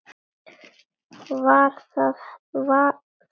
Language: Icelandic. Það var hennar stíll.